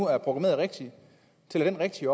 er programmeret rigtigt tæller den rigtigt